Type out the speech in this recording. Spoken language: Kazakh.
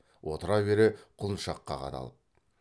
отыра бере құлыншаққа қадалып